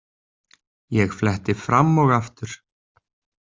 Ég fletti fram og aftur.